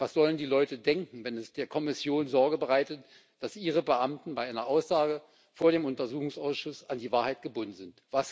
Was sollen die Leute denken, wenn es der Kommission Sorge bereitet, dass ihre Beamten bei einer Aussage vor dem Untersuchungsausschuss an die Wahrheit gebunden sind?